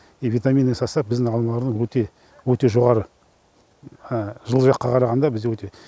и витаминный состав біздің алмалардың өте өте жоғары жылы жаққа қарағанда бізде өте